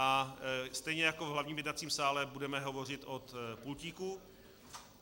A stejně jako v hlavním jednacím sále budeme hovořit od pultíku.